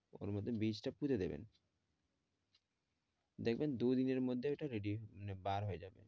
ওর মধ্যে টা পুড়ে দিবেন দেখবেন দুদিনের মধ্যে ওটা ready মানে বার হয়ে যাবে